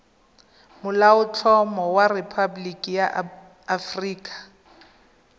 molaotlhomo wa rephaboliki ya aforika